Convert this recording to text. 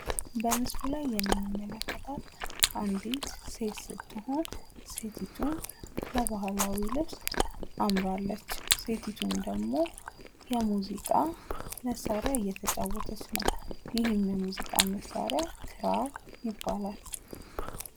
በምስሉ ላይ የምንመለከታት አንድት ሴት ስትሆን ሴቲቱም በባህላዊ ልብስ አምራለች። ሴቲቱም ደግሞ በሙዚቃ መሳሪያ እየተጫወተች ነው። ይህም የሙዚቃ መሳሪያ ክራር ይባላል።